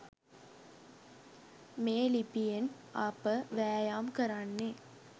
මේ ලිපියෙන් අප වෑයම් කරන්නේ